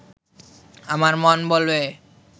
আমার মন বলবে